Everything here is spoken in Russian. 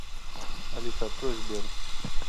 алиса открой сбер